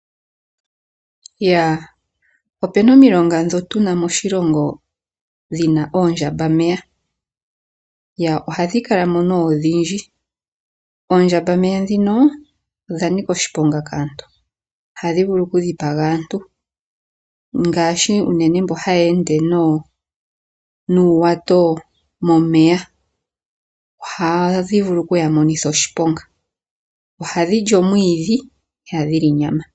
Opuna omilonga ndhoka tu na moshilongo dhi na oondjambameya. Ohadhi kala mo nduno odhindji. Oondjambameya ndhika odha nika oshiponga kaantu. Ohadhi vulu okudhipaga aantu ngaashi unene mboka haya ende nuuwato momeya ohadhi vulu okuya monitha oshiponga. Ohadhi li omwiidhi, ihadhi li nyama.